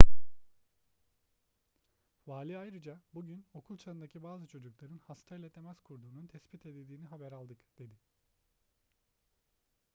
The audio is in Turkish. vali ayrıca bugün okul çağındaki bazı çocukların hastayla temas kurduğunun tespit edildiğini haber aldık dedi